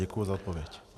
Děkuji za odpověď.